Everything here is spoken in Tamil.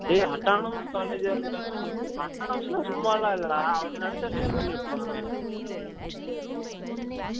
டெய் autonomous college ஆ இருந்தாலும் autonomous நா சும்மா லாம் இல்ல டா அவங்க நினைச்சா fail லாம் பன்னி விடரு்வாங்க